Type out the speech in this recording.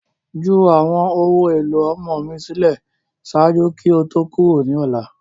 Ju awọn ohun elo ọmọ mi silẹ ṣaaju ki o to kuro ni ọla!